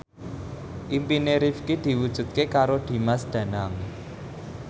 impine Rifqi diwujudke karo Dimas Danang